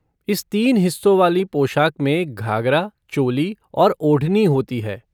इस तीन हिस्सों वाली पोशाक में घागरा, चोली और ओढ़नी होती है।